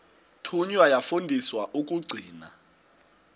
thunywa yafundiswa ukugcina